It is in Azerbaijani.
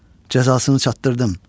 Cəzasını çatdırdım.